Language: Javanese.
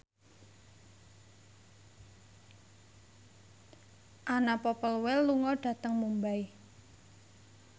Anna Popplewell lunga dhateng Mumbai